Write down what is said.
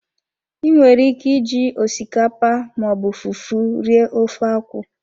I nwere ike iji osikapa ma ọ bụ fufu rie ofe akwụ.